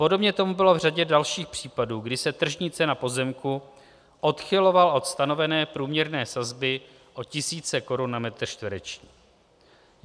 Podobně tomu bylo v řadě dalších případů, kdy se tržní cena pozemku odchylovala od stanovené průměrné sazby o tisíce korun na metr čtvereční.